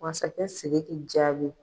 Masakɛ Sidigi jaabi.